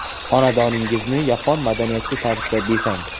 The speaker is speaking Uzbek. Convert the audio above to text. Xonadoningizni yapon madaniyati tarzida bezang!